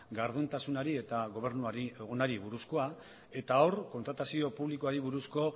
gardentasunari eta gobernu buruzkoa eta hor kontratazio publikoari buruzko